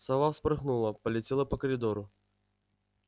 сова вспорхнула полетела по коридору